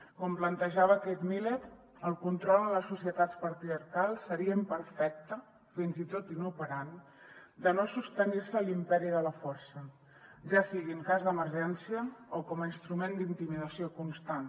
com plantejava kate miller el control en les societats patriarcals seria imperfecte fins i tot inoperant si no es sostingués l’imperi de la força ja sigui en cas d’emergència o com a instrument d’intimidació constant